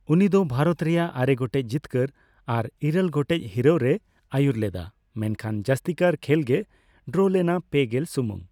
ᱩᱱᱤ ᱫᱚ ᱵᱷᱟᱨᱚᱛ ᱨᱮᱭᱟᱜ ᱟᱨᱮᱜᱚᱴᱮᱪ ᱡᱤᱛᱠᱟᱹᱨ ᱟᱨ ᱤᱨᱟᱹᱞ ᱜᱚᱴᱮᱪ ᱦᱤᱨᱟᱹᱣ ᱨᱮᱭ ᱟᱹᱭᱩᱨᱞᱮᱫᱟ, ᱢᱮᱱᱠᱷᱟᱱ ᱡᱟᱹᱥᱛᱤᱠᱟᱭ ᱠᱷᱮᱞᱜᱮ ᱰᱨᱚᱞᱮᱱᱟ, ᱯᱮᱜᱮᱞ ᱥᱟᱹᱢᱩᱝ ᱾